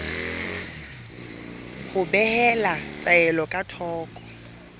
ho behela taelo ka thoko